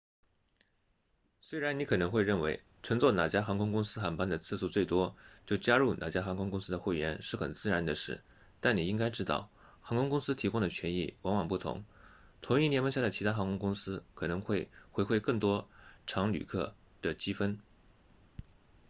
虽然你可能会认为乘坐哪家航空公司航班的次数最多就加入哪家航空公司的会员是很自然的事但你应该知道航空公司提供的权益往往不同同一联盟下的其他航空公司可能会回馈更多常旅客积分